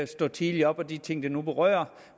stå tidligt op og de ting det nu berører